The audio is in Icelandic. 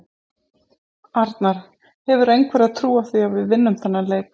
Arnar: Hefurðu einhverja trú á því að við vinnum þennan leik?